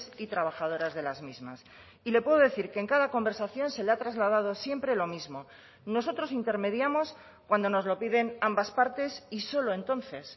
y trabajadoras de las mismas y le puedo decir que en cada conversación se le ha trasladado siempre lo mismo nosotros intermediamos cuando nos lo piden ambas partes y solo entonces